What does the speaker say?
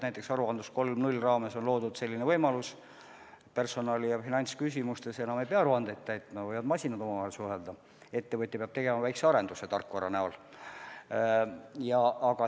Näiteks "Aruandlus 3.0" raames on loodud selline võimalus, et personali- ja finantsküsimustes enam ei pea aruandeid täitma, masinad võivad omavahel suhelda, ettevõtja peab tegema väikese arenduse tarkvara näol.